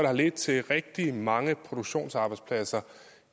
har ledt til rigtig mange produktionsarbejdspladser